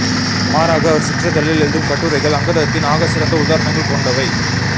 மாறாக அவர் சிற்றிதழில் எழுதும் கட்டுரைகள் அங்கதத்தின் ஆகச்சிறந்த உதாரணங்கள் கொண்டவை